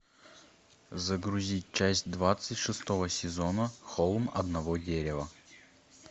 загрузить часть двадцать шестого сезона холм одного дерева